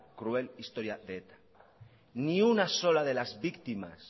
cruel historia de eta ni una sola de las víctimas